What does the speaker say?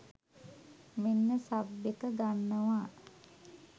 මෙන්න සබ් එක ගන්නවා.